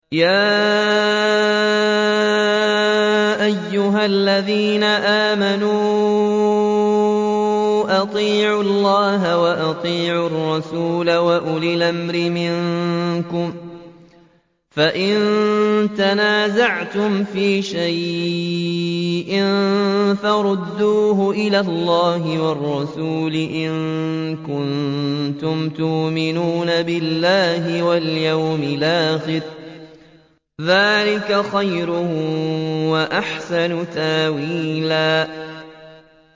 يَا أَيُّهَا الَّذِينَ آمَنُوا أَطِيعُوا اللَّهَ وَأَطِيعُوا الرَّسُولَ وَأُولِي الْأَمْرِ مِنكُمْ ۖ فَإِن تَنَازَعْتُمْ فِي شَيْءٍ فَرُدُّوهُ إِلَى اللَّهِ وَالرَّسُولِ إِن كُنتُمْ تُؤْمِنُونَ بِاللَّهِ وَالْيَوْمِ الْآخِرِ ۚ ذَٰلِكَ خَيْرٌ وَأَحْسَنُ تَأْوِيلًا